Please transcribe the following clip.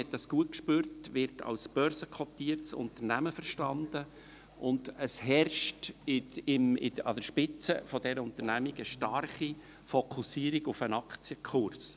Die BKW – man spürte dies gut – wird als börsenkotiertes Unternehmen verstanden, und es herrscht an der Spitze dieser Unternehmung eine starke Fokussierung auf den Aktienkurs.